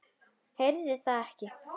Heyrði það ekki.